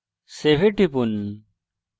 save এ টিপুন